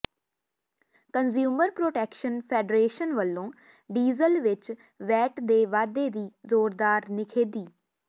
consumer protection federation ਵਲੋਂ diesel ਵਿਚ VAT ਦੇ ਵਾਧੇ ਦੀ ਜੋਰਦਾਰ ਨਿਖੇਧੀ